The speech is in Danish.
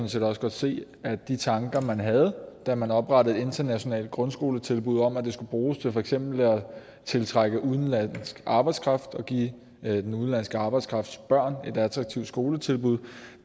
set også godt se at de tanker man havde da man oprettede internationale grundskoletilbud om at det skulle bruges til for eksempel at tiltrække udenlandsk arbejdskraft og give den udenlandske arbejdskrafts børn et attraktivt skoletilbud